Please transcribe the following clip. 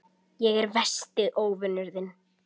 Ég er versti óvinur þinn.